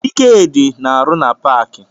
Ikedị na-arụ na paakị